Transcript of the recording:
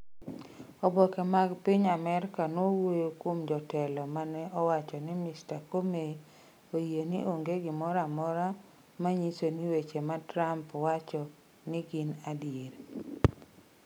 Oboke mag piny Amerka nowuoyo kuom jotelo ma ne owacho ni Mr. Comey oyie ni onge gimoro amora ma nyiso ni weche ma Trump wacho ni gin adier.